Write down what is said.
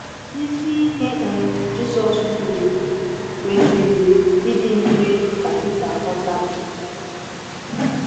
Isi ihe um Jésù jụrụ kwesịrị ịdị mfe ka Pita ghọta.